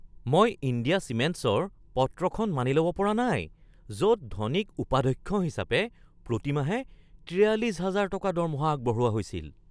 মই ইণ্ডিয়া চিমেণ্টছৰ পত্ৰখন মানি ল'ব পৰা নাই য'ত ধোনীক উপাধ্যক্ষ হিচাপে প্ৰতি মাহে ৪৩,০০০ টকা দৰমহা আগবঢ়োৱা হৈছিল।